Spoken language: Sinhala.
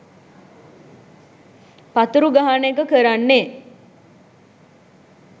පතුරු ගහන එක කරන්නෙ.